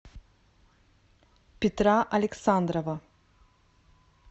петра александрова